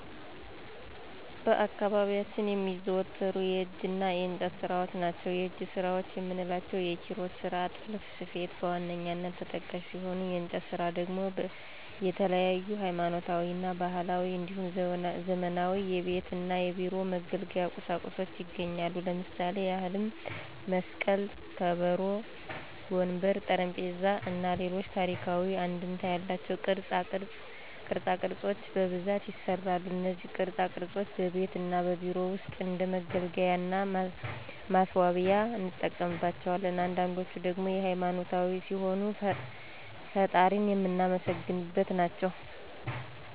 በአካባቢያችን የሚዘወተሩ የእጅ እና የእንጨት ስራዎች ናቸው። የእጅ ስራዎች የምንላቸው የኪሮሽ ስራ፣ ጥልፍና ስፌት በዋነኛነት ተጠቃሽ ሲሆኑ የእንጨት ስራ ደግሞ የተለያዩ ሀይማኖታዊ እና ባህላዊ እንዲሁም ዘመናዊ የቤት እና የቢሮ መገልገያ ቁሳቁሶች ይገኛሉ። ለምሳሌ ያህልም መስቀል፣ ከበሮ፣ ወንበር፣ ጠረጴዛ እና ሌሎች ታሪካዊ አንድምታ ያላቸው ቅርፃ ቅርፆች በብዛት ይሰራሉ። እነዚህ ቅርፃ ቅርፆች በቤት እና በቢሮ ውስጥ እንደ መገልገያ እና ማስዋቢያነት እንጠቀምባቸዋለን። አንዳንዶችን ደግሞ ሃይማኖታዊ ሲሆኑ ፈጣሪን የምናመሰግንባቸው ናቸው።